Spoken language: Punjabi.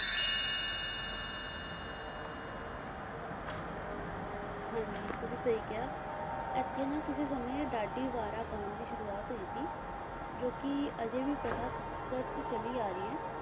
ਹਾਂ ਜੀ ਤੁਸੀਂ ਸਹੀ ਕਿਹਾ ਏਥੇ ਨਾ ਕਿਸੇ ਸਮੇਂ ਢਾਢੀ ਵਾਰਾਂ ਗਾਉਣ ਦੀ ਸ਼ੁਰੁਆਤ ਹੋਈ ਸੀ ਜੋ ਅਜੇ ਵੀ ਪ੍ਰਥਾ ਕਰਤ ਚਲੀ ਆਈ